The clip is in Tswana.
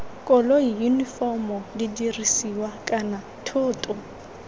koloi yunifomo didirisiwa kana thoto